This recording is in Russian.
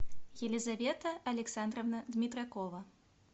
елизавета александровна дмитракова